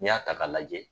N'i y'a ta k'a lajɛ